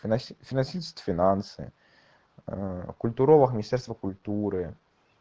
финаси финансист финансы культуролог министерство культуры